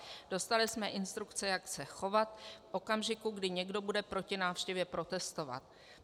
Dostali jsme instrukce, jak se chovat v okamžiku, kdy někdo bude proti návštěvě protestovat.